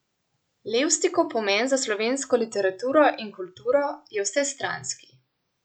Levstikov pomen za slovensko literaturo in kulturo je vsestranski.